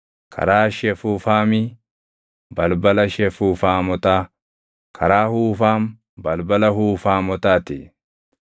karaa Shefuufaami, balbala Shefuufaamotaa; karaa Huufaam, balbala Huufaamotaa ti.